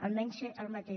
almenys ser el mateix